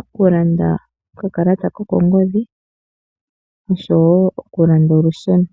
okulanda okakalata kokongodhi oshowo okulanda olusheno